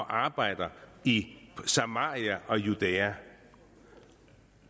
arbejder i samaria og judæa